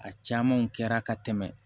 A camanw kɛra ka tɛmɛ